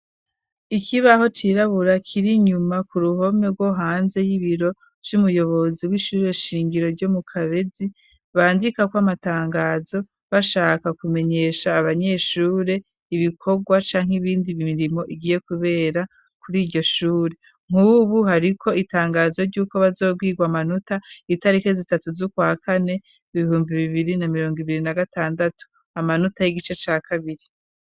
Ikibaho cirabura kiri inyuma ku ruhome rwo hanze y'ibiro vy'umuyobozi w'ishure shingiro ryo mu Kabezi, bandikako amatangazo bashaka kumenyesha abanyeshure ibikorwa canke iyindi mirimo igiye kubera kuri iryo shure. Nk'ubu hariko itangazo ry'uko bazobwirwa amanota itariki zitatu z'ukwa kane, ibihumbi bibiri na mirongo ibiri na gatandatu, amanota y'igice ca kabiri.